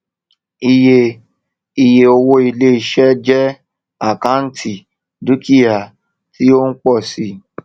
iye iye owó iléiṣẹ jẹ àkántì dúkìá tí ó ń pọ si